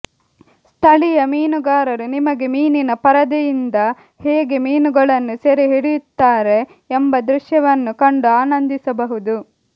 ಸ್ಥಳೀಯ ಮೀನುಗಾರರು ನಿಮಗೆ ಮೀನಿನ ಪರದೆಯಿಂದ ಹೇಗೆ ಮೀನುಗಳನ್ನು ಸೆರೆ ಹಿಡಿಯುತ್ತಾರೆ ಎಂಬ ದೃಶ್ಯವನ್ನು ಕಂಡು ಆನಂದಿಸಬಹುದು